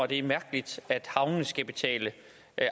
det er mærkeligt at havnene skal betale